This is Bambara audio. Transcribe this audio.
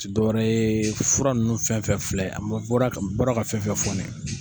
Ti dɔwɛrɛ ye fura ninnu fɛnfɛn filɛ an bɔra n bɔra ka fɛnfɛ fɔ nin ye.